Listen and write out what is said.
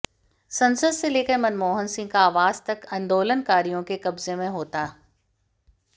संसद से लेकर मनमोहन सिंह का आवास तक आंदोलनकारियों के कब्जे में होता